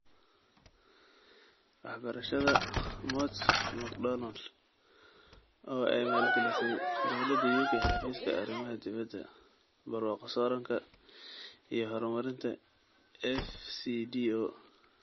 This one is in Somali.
Waxbarashada (Mott McDonald) oo ay maalgelisay Dawladda UK Xafiiska Arrimaha Dibedda, Barwaaqo-sooranka iyo Horumarinta (FCDO).